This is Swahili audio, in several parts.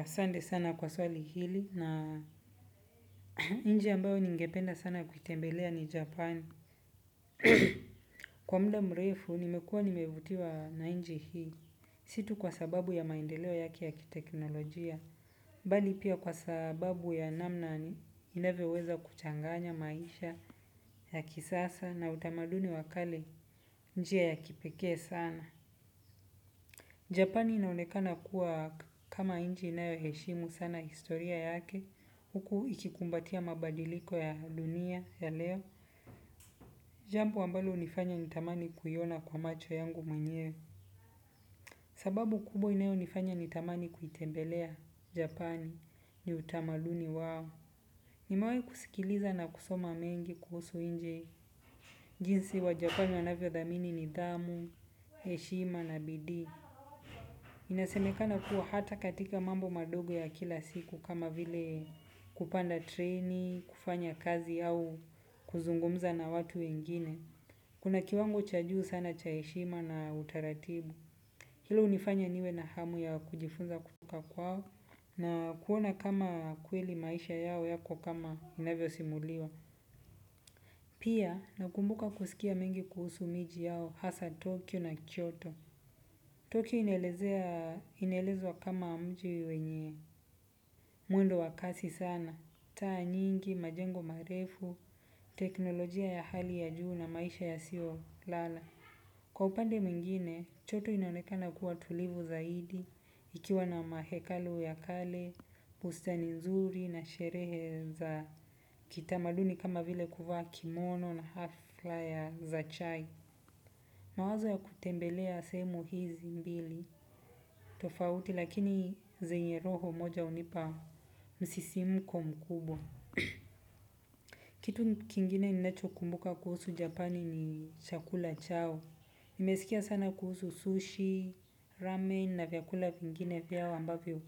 Asante sana kwa swali hili na nchi ambayo ningependa sana kuitembelea ni Japani. Kwa muda mrefu nimekua nimevutiwa na nchi hii. Si tu kwa sababu ya maendeleo yake ya kiteknolojia bali pia kwa sababu ya namna inavyoweza kichanganya maisha ya kisasa na utamaduni wa kale kwa njia ya kipekee sana Japani inaonekana kuwa kama nchi inayo heshimu sana historia yake. Huku ikikumbatia mabadiliko ya dunia ya leo. Jambo ambalo hunifanya nitamani kuiona kwa macho yangu mwenyewe. Sababu kubwa inayo nifanya nitamani kuitembelea Japani. Ni utamaduni wao. Nimewahi kusikiliza na kusoma mengi kuhusu jinsi Wajapani wanavyo dhamini nidhamu, heshima na bidii. Inasemekana kuwa hata katika mambo madogo ya kila siku kama vile kupanda treni, kufanya kazi au kuzungumza na watu wengine. Kuna kiwango cha juu sana cha heshima na utaratibu. Hilo hunifanya niwe na hamu ya kujifunza kutoka kwao, na kuona kama kweli maisha yao yako kama inavyo simuliwa. Pia, nakumbuka kusikia mengi kuhusu miji yao, hasa Tokyo na Kyoto. Tokyo inelezea, inelezwa kama mji wenye, mwendo wa kasi sana. Taa nyingi, majengo marefu, teknolojia ya hali ya juu na maisha yasio lala. Kwa upande mwingine, Kyoto inaonekana kuwa tulivu zaidi, ikiwa na mahekalu ya kale, bustani nzuri na sherehe za kitamaduni kama vile kuvaa kimono na halfa za chai. Mawazo ya kutembelea sehemu hizi mbili. Tofauti lakini zenye roho moja hunipa msisimko mkubwa. Kitu kingine ninacho kumbuka kuhusu japani ni chakula chao. Nimesikia sana kuhusu sushi, ramen na vyakula vingine vyao ambavyo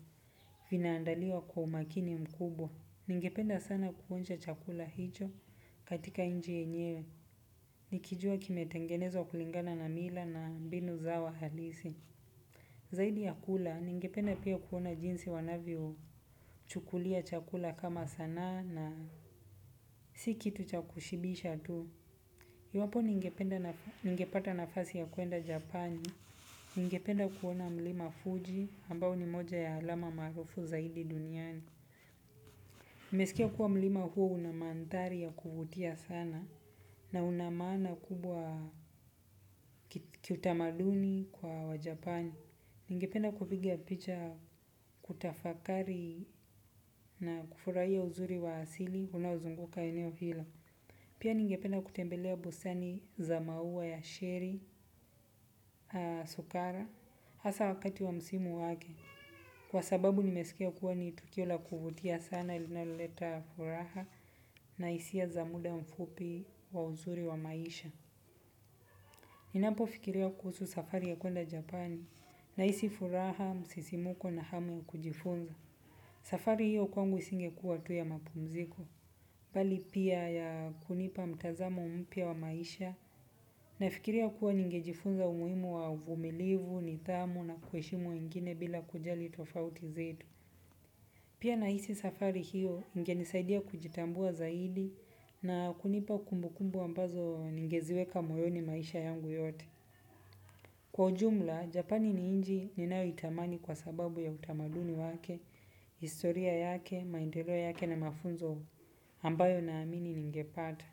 vina andaliwa kwa umakini mkubwa. Ningependa sana kuonja chakula hicho katika nchi yenyewe. Nikijua kimetengenezwa kulingana na mila na mbinu zao halisi. Zaidi ya kula, ningependa pia kuona jinsi wanavyo chukulia chakula kama sanaa na si kitu cha kushibisha tu. Iwapo ningepata nafasi ya kuenda Japani, ningependa kuona mlima Fuji, ambao ni moja ya alama maarufu zaidi duniani. Nimesikia kuwa mlima huo una mandhari ya kuvutia sana na una maana kubwa kiutamaduni kwa Wajapani. Ningependa kupiga picha kutafakari na kufurahia uzuri wa asili unaozunguka eneo hilo. Pia ningependa kutembelea bustani za maua ya sheri, sukara, hasa wakati wa msimu wake. Kwa sababu nimesikia kuwa ni tukio la kuvutia sana linalo leta furaha na hisia za muda mfupi wa uzuri wa maisha. Ninapofikiria kuhusu safari ya kuenda Japani nahisi furaha, msisimko na hamu ya kujifunza. Safari hiyo kwangu isingekuwa tu ya mapumziko. Bali pia ya kunipa mtazamo mpya wa maisha nafikiria kuwa ningejifunza umuhimu wa uvumilivu nidhamu na kuheshimu wengine bila kujali tofauti zetu. Pia nahisi safari hiyo ingenisaidia kujitambua zaidi na kunipa kumbukumbu ambazo ningeziweka moyoni maisha yangu yote. Kwa ujumla, Japani ni nchi ninayo itamani kwa sababu ya utamaduni wake, historia yake, maendelo yake na mafunzo ambayo naamini ningepata.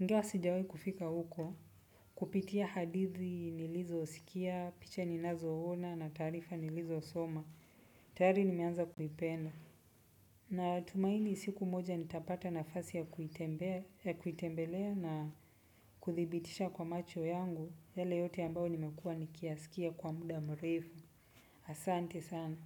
Ingawa sijawahi kufika huko. Kupitia hadithi nilizo sikia, picha ninazo ona na taarifa nilizo soma. Tayari nimeanza kuipenda. Natumaini siku moja nitapata nafasi ya kuitembelea na kuthibitisha kwa macho yangu. Yale yote ambayo nimekua nikiyasikia kwa muda mrefu. Asante sana.